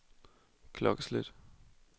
klokkeslæt